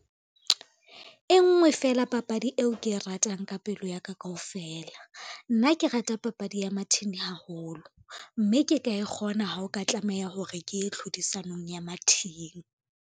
E nngwe feela papadi eo ke e ratang ka pelo yaka kaofela, nna ke rata papadi ya mathini haholo mme ke ka e kgona ho o ka tlameha hore ke ye hlodisanong ya mathini.